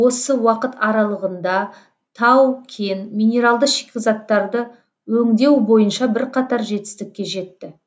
осы уақыт аралығында тау кен минералды шикізаттарды өңдеу бойынша бірқатар жетістікке жетті